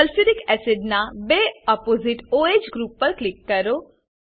sulphuric acid sulphuric acid ના બે opposite o H group પર ક્લિક કરો